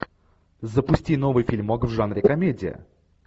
запусти новый фильмок в жанре комедия